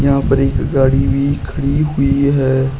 यहां पर एक गाड़ी भी खड़ी हुई है।